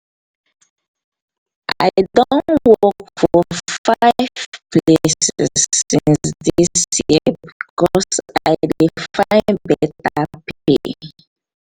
i don work for five places since dis year because i dey find beta pay.